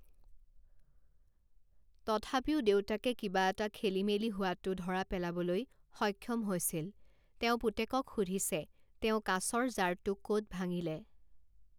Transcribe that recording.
তথাপিও দেউতাকে কিবা এটা খেলিমেলি হোৱাটো ধৰা পেলাবলৈ সক্ষম হৈছিল; তেওঁ পুতেকক সুধিছে, তেওঁ কাঁচৰ জাৰটো ক'ত ভাঙিলে?